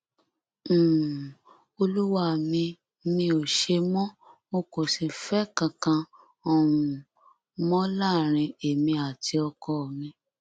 um olúwa mi mi ò ṣe mọ o kò sífẹẹ kankan um mọ láàrin èmi àti ọkọ mi